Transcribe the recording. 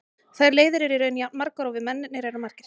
Þær leiðir eru í raun jafn margar og við mennirnir erum margir.